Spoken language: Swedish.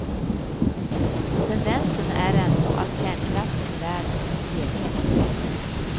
Tendensen är ändå att kärnkraften i världen som helhet byggs ut.